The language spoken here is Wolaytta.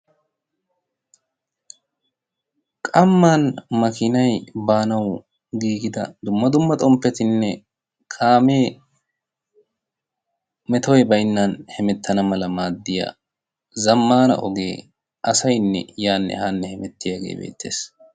Qamman makinay baanau giigida dumma dumma xomppetinne kaamee metoy baynnan hemettana mala maaddiya zammaana ogee asainne yaanne haanne hemettiyaagee beettees.